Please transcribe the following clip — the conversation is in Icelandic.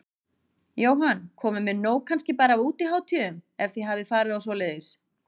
Jóhann: Komin með nóg kannski bara af útihátíðum, ef þið hafið farið á svoleiðis?